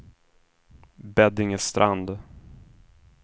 Beddingestrand